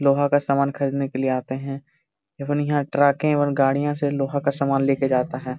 लोहा का सामान खरीदने के लिए आते हैं केवल यहां ट्रक गाड़ियां से लोहा का सामान लेकर जाता है।